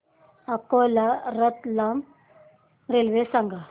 Akola Ratlam railway सांगा